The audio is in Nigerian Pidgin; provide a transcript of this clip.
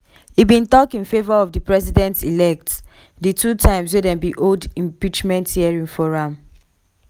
e bin tok in favour of di president-elect di two times wey dem hold impeachment hearing for am.